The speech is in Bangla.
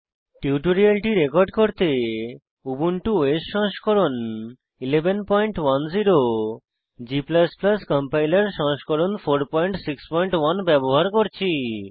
টিউটোরিয়ালটি রেকর্ড করতে উবুন্টু ওএস সংস্করণ 1110 g কম্পাইলার সংস্করণ 461 ব্যবহার করছি